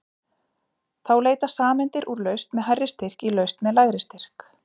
Þá leita sameindir úr lausn með hærri styrk í lausn með lægri styrk.